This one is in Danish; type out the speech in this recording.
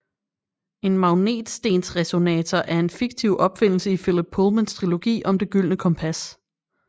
En magnetstensresonator er en fiktiv opfindelse i Philip Pullmans trilogi om Det gyldne kompas